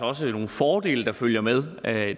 også nogle fordele der følger med